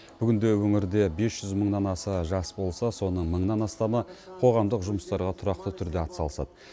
бүгінде өңірде бес жүз мыңнан аса жас болса соның мыңнан астамы қоғамдық жұмыстарға тұрақты түрде атсалысады